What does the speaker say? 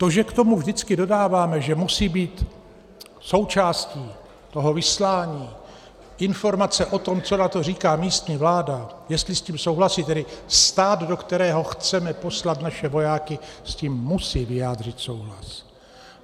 To, že k tomu vždycky dodáváme, že musí být součástí toho vyslání informace o tom, co na to říká místní vláda, jestli s tím souhlasí, tedy stát, do kterého chceme poslat naše vojáky, s tím musí vyjádřit souhlas.